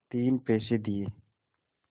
तीन पैसे दिए